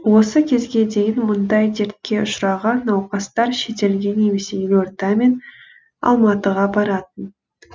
осы кезге дейін мұндай дертке ұшыраған науқастар шетелге немесе елорда мен алматыға баратын